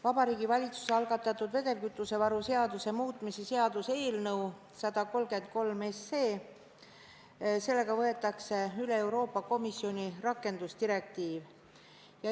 Vabariigi Valitsuse algatatud vedelkütusevaru seaduse muutmise seaduse eelnõu eesmärk on võtta üle Euroopa Komisjoni rakendusdirektiiv.